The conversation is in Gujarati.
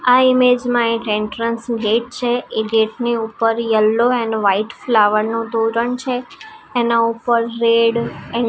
આ ઈમેજ માં એક એન્ટ્રન્સ ગેટ છે એ ગેટ ની ઉપર યેલ્લો એન્ડ વાઈટ ફ્લાવર નું તોરણ છે એના ઉપર રેડ એ--